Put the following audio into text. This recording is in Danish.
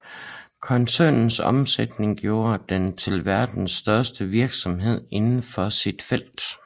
Koncernens omsætning gjorde den til verdens største virksomhed indenfor sit felt